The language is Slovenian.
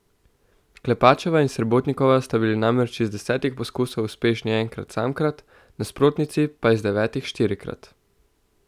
Klepačeva in Srebotnikova sta bili namreč iz desetih poskusov uspešni enkrat samkrat, nasprotnici pa iz devetih štirikrat.